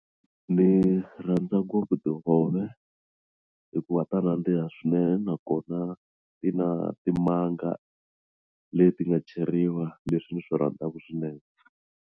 Ni rhandza ngopfu tihove hikuva ta nandziha swinene nakona ti na timanga leti nga cheriwa leswi swi rhandzaka swinene.